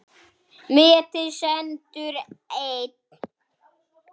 Metið stendur enn.